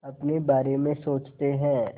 अपने बारे में सोचते हैं